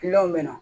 bɛ na